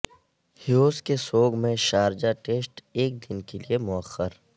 ہیوز کے سوگ میں شارجہ ٹیسٹ ایک دن کے لیے موخر